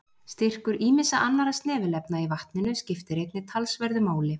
Styrkur ýmissa annarra snefilefna í vatninu skiptir einnig talsverðu máli.